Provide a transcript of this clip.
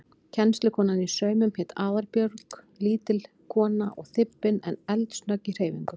Kennslukonan í saumum hét Aðalbjörg, lítil kona og þybbin en eldsnögg í hreyfingum.